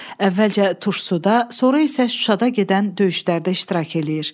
Əvvəlcə Tuşsudada, sonra isə Şuşada gedən döyüşlərdə iştirak eləyir.